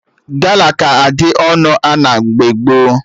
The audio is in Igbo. Gala ka dị ọnụ ana mgbe gboo